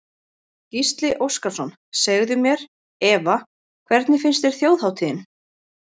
Gísli Óskarsson: Segðu mér Eva, hvernig fannst þér Þjóðhátíðin?